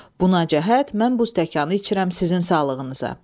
Buna cəhət mən bu stəkanı içirəm sizin sağlığınıza.